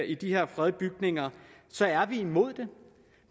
i de her fredede bygninger så er vi imod det